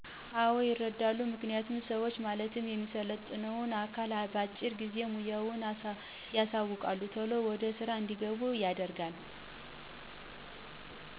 አወ ይረዳሉ። ምክንያቱም ሰዋችን ማለትም የሚሰለጥነውን አካል በአጭር ጊዜ ሙያዋችን ያሳውቃል ቶሎ ወደ ስራ እንዲገቡ ያደርጋል።